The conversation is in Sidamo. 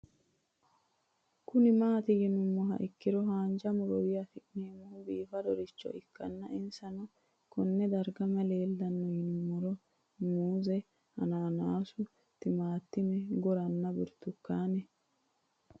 Kuni mati yinumoha ikiro hanja murowa afine'mona bifadoricho ikana isino Kone darga mayi leelanno yinumaro muuze hanannisu timantime gooranna buurtukaane